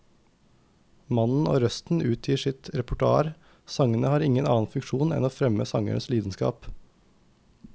Mannen og røsten utgjør sitt eget repertoar, sangene har ingen annen funksjon enn å fremme sangerens lidenskap.